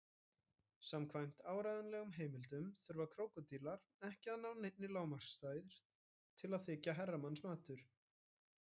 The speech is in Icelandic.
Samkvæmt áreiðanlegum heimildum þurfa krókódílar ekki að ná neinni lágmarksstærð til að þykja herramannsmatur.